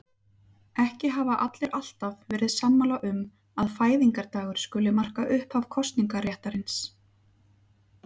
Ekki hafa allir alltaf verið sammála um að fæðingardagur skuli marka upphaf kosningaréttarins.